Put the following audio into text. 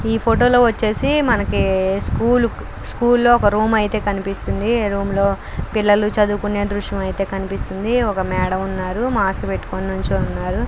ఈ ఫోటో లో వచ్చేసి మనకి స్కూలు స్కూల్ ఒక రూమ్ అయితే కనిపిస్తుంది. రూమ్ లో పిల్లలు చదువుకునే దృశ్యం అయితే కనిపిస్తుంది. ఒక మేడం ఉన్నారు. మాస్క్ పెట్టుకుని నించుని ఉన్నారు.